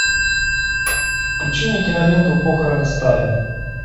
включи мне киноленту похороны сталина